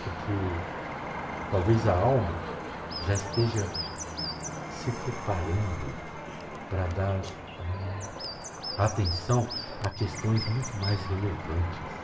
porque talvez a alma já esteja se preparando para dar, ah, atenção a questões muito mais relevantes.